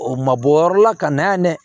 O ma bɔ o yɔrɔ la ka na yan dɛ